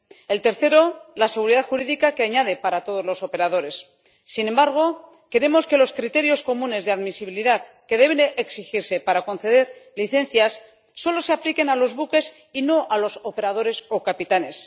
El tercero, la seguridad jurídica que añade para todos los operadores. Sin embargo, queremos que los criterios comunes de admisibilidad que deben exigirse para conceder licencias solo se apliquen a los buques y no a los operadores o capitanes.